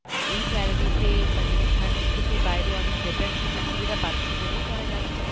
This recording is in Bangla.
এই salary তে মানে এখানের থেকে বাইরে অনেক better সুযোগ সুবিধা পাচ্ছে বলেই তারা যাচ্ছে